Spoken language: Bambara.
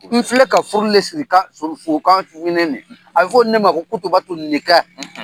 N filɛ ka furu le siri kan furu fo kan fo i ɲɛnɛ ni ye a bɛ fɔ o de man ko kutubatu ninka